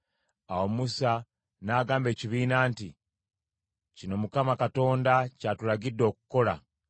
Awo Musa n’agamba ekibiina nti, “Kino Mukama Katonda ky’atulagidde okukola.”